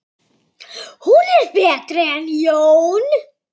Hún er betri en Jón!